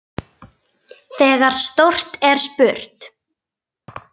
Þegar stórt er spurt.